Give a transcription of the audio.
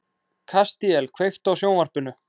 Kastíel, kveiktu á sjónvarpinu.